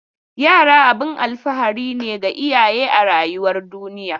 Yara abun alfahari ne ga iyaye a rayuwar duniya.